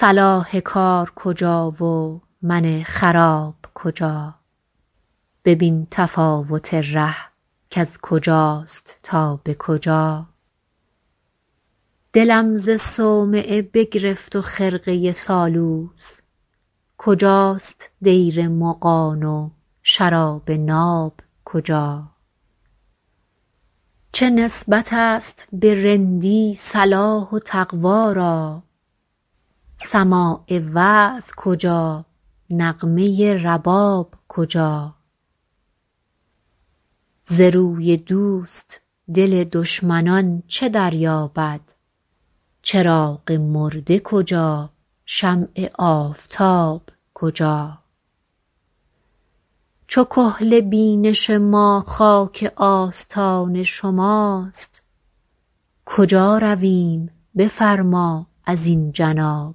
صلاح کار کجا و من خراب کجا ببین تفاوت ره کز کجاست تا به کجا دلم ز صومعه بگرفت و خرقه سالوس کجاست دیر مغان و شراب ناب کجا چه نسبت است به رندی صلاح و تقوا را سماع وعظ کجا نغمه رباب کجا ز روی دوست دل دشمنان چه دریابد چراغ مرده کجا شمع آفتاب کجا چو کحل بینش ما خاک آستان شماست کجا رویم بفرما ازین جناب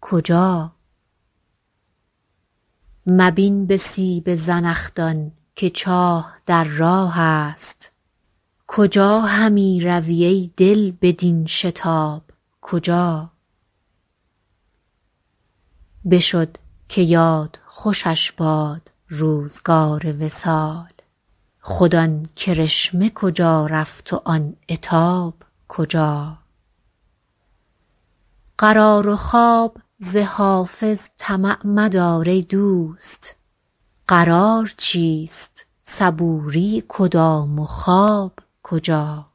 کجا مبین به سیب زنخدان که چاه در راه است کجا همی روی ای دل بدین شتاب کجا بشد که یاد خوشش باد روزگار وصال خود آن کرشمه کجا رفت و آن عتاب کجا قرار و خواب ز حافظ طمع مدار ای دوست قرار چیست صبوری کدام و خواب کجا